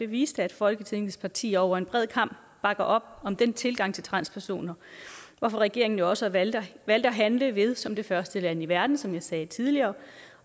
viste at folketingets partier over en bred kam bakker op om den tilgang til transpersoner hvorfor regeringen jo også valgte at handle ved som det første land i verden som jeg sagde tidligere